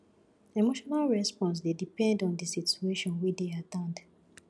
emotional response dey depend on di situation wey dey at hand